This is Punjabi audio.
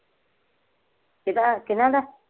ਕਿਹੜਾ ਕਿਨਾਂ ਦਾ?